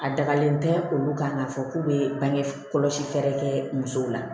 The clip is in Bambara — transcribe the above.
A dagalen tɛ olu kan k'a fɔ k'u bɛ bange kɔlɔsi fɛɛrɛ kɛ musow la